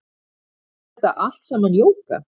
Er þetta allt saman jóga